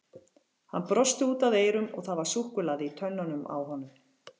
Hann brosti út að eyrum og það var súkkulaði í tönnunum á honum.